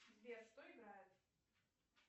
сбер что играет